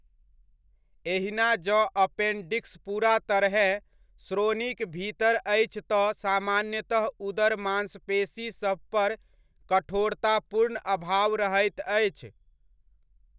एहिना जँ अपेन्डिक्स पूरा तरहेँ श्रोणिक भीतर अछि तँ सामान्यतः उदर मान्सपेशीसभपर कठोरता पूर्ण अभाव रहैत अछि।